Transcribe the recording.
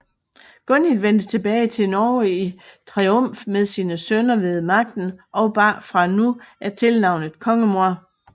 Gunhild vendte tilbage til Norge i triumf med sine sønner ved magten og bar fra nu af tilnavnet kongemor